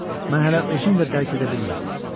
Mən hələ özüm də dərk edə bilmirdim.